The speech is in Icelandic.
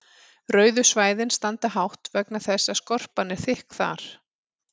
rauðu svæðin standa hátt vegna þess að skorpan er þykk þar